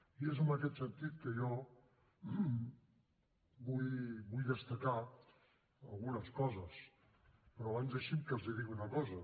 i és en aquest sentit que jo vull destacar algunes coses però abans deixin me que els digui una cosa